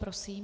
Prosím.